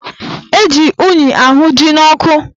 Eji unyi ahụ ji n'ọkụ